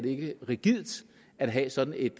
ikke det er rigidt at have sådan et